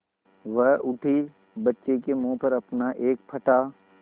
वह उठी बच्चे के मुँह पर अपना एक फटा